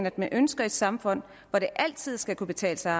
at man ønsker et samfund hvor det altid skal kunne betale sig